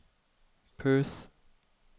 Perth